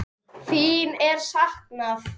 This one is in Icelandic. Þín er saknað.